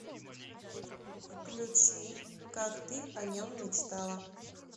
включи как ты о нем мечтала